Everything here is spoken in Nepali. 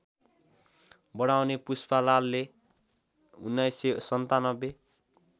बढाउने पुष्पलालले १९९७